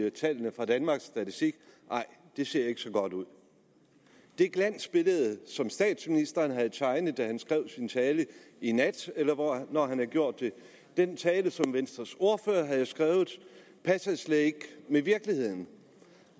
af tallene fra danmarks statistik nej det ser ikke så godt ud det glansbillede som statsministeren tegnede da han skrev sin tale i nat eller hvornår han nu gjorde det og den tale som venstres ordfører har skrevet passer slet ikke med virkeligheden